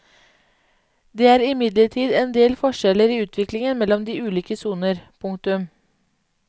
Det er imidlertid en del forskjeller i utvikling mellom de ulike soner. punktum